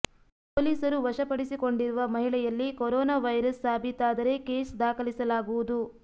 ಪೋಲಿಸರು ವಶ ಪಡಿಸಿಕೊಂಡಿರುವ ಮಹಿಳೆಯಲ್ಲಿ ಕೊರೋನಾ ವೈರಸ್ ಸಾಬೀತಾದರೆ ಕೇಸ್ ದಾಖಲಾಗಿಸಲಾಗುವುದು